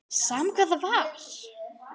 Sama hvað það var.